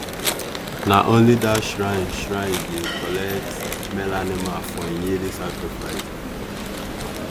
na only that shrine shrine dey collect male animal for im yearly sacrifice.